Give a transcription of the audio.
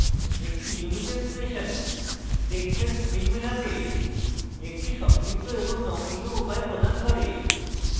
একটি নিয়মিত expression টেক্সটের strings মেলাতে একটি সংক্ষিপ্ত এবং নমনীয় উপায় প্রদান করে